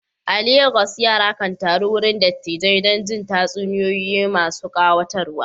A Legas, yara kan taru wurin dattijai don jin tatsuniyoyi masu kayatarwa.